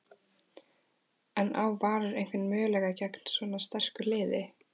En á Valur einhvern möguleika gegn svona sterku liði?